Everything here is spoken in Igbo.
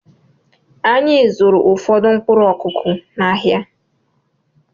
Anyị zụụrụ ụfọdụ mkpụrụ Ọkụ́kụ́ n'ahia.